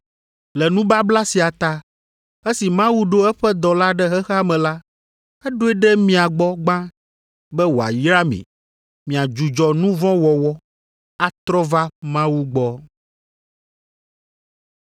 Le nubabla sia ta, esi Mawu ɖo eƒe dɔla ɖe xexea me la, eɖoe ɖe mia gbɔ gbã be wòayra mi, miadzudzɔ nu vɔ̃ wɔwɔ, atrɔ va Mawu gbɔ.”